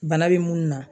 Bana be munnu na